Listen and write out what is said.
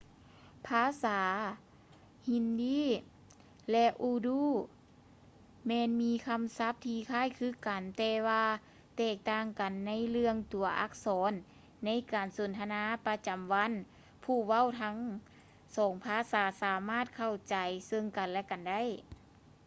ພາສາຮິນດີ hindi ແລະ ອູດູ urdu ແມ່ນມີຄຳສັບທີ່ຄ້າຍຄືກັນ ແຕ່ວ່າແຕກຕ່າງກັນໃນເລື່ອງຕົວອັກສອນ; ໃນການສົນທະນາປະຈຳວັນ ຜູ້ເວົ້າທັງສອງພາສາສາມາດເຂົ້າໃຈເຊິ່ງກັນ ແລະ ກັນໄດ້